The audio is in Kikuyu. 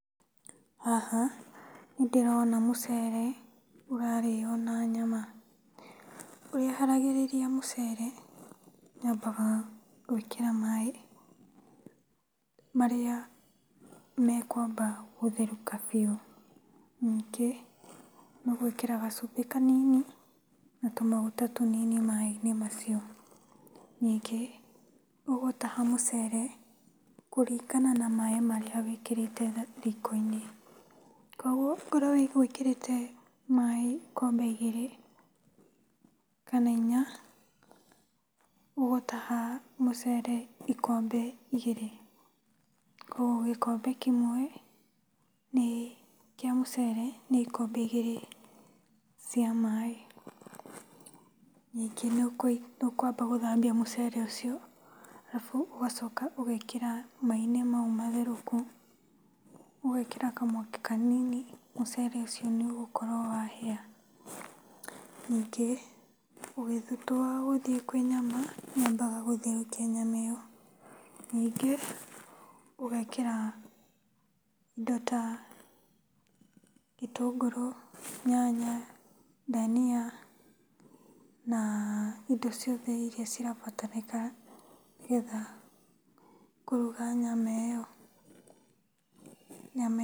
Haha nĩ ndĩrona mũcere ũrarĩo na nyama. Ũrĩa haragĩrĩria mũcere, nyambaga gwĩkĩra maĩ marĩa mekwamba gũtherũka biũ, ningĩ nĩũgwĩkĩra gacumbĩ kanini na tũmaguta tũnini maĩ-inĩ macio. Ningĩ, ũgũtaha mũcere kũringana na maĩ marĩa wĩkĩrĩte riko-inĩ, kũoguo okorwo ũgwĩkĩrite maĩ ikombe igĩrĩ kana inya ũgũtaha mũcere ikombe igĩrĩ, kũoguo gĩkombe kĩmwe nĩ kĩa mucere nĩ ikombe igĩrĩ cia maĩ. Ningĩ nĩũkwamba gũthambia mũcere ũcio arabu ũgacoka ũgekĩra maĩ-inĩ mau matherũku, ũgekĩra kamwaki kanini mũcere ũcio nĩũgũkorwo wahĩa. Ningĩ, ũgĩtua wa gũthiĩ kwĩ nyama nyambaga gũtherũkia nyama ĩo, ningĩ ũgekĩra indo ta gĩtũngũrũ, nyanya, ndania na indo ciothe iria cirabatarĩka nĩgetha kũruga nyama ĩo. Nyama